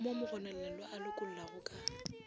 mo mogononelwa a lokollwago ka